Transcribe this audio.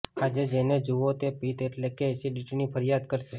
આજે જેને જુઓ તે પિત્ત એટલે કે ઍસિડિટીની ફરિયાદ કરશે